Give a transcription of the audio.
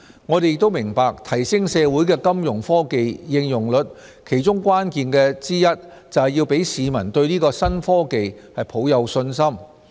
我們亦明白提升社會的金融科技應用率其中關鍵之一是要讓市民對這些新科技抱有信心。